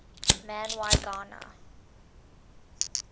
man y gana